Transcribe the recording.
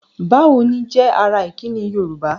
"Bá wo ni?" jẹ́ ara ìkíni Yorùbá.